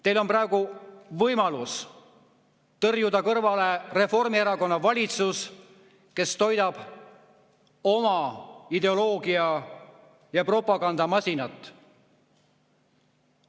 Teil on praegu võimalus tõrjuda kõrvale Reformierakonna valitsus, kes toidab oma ideoloogia‑ ja propagandamasinat.